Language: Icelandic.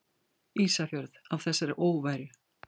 Ísafjörð af þessari óværu!